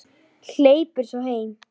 Hleypur svo heim.